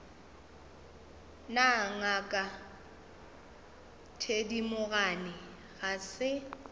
na ngaka thedimogane ga se